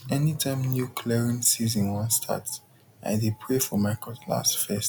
anytime new clearing season wan start i dey pray for my cutlass first